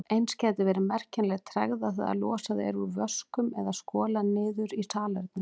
Eins gæti verið merkjanleg tregða þegar losað er úr vöskum eða skolað niður í salernum.